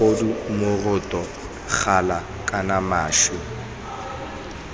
mogodu moroto gala kana maši